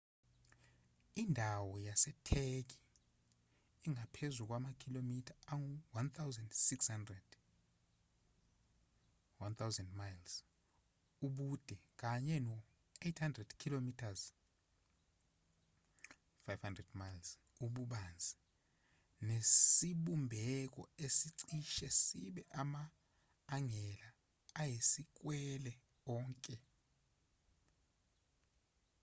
indawo yasetheki ingaphezu kwamakhilomitha angu-1,600 1,000 mi ubude kanye no-800 km 500 mi ububanzi nesibumbeko esicishe sibe ama-angela ayisikwele onke